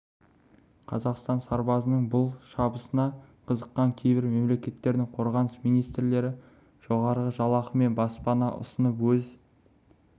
қазақ сарбазының бұл шабысына қызыққан кейбір мемлекеттердің қорғаныс министрлері жоғарғы жалақы мен баспана ұсынып өз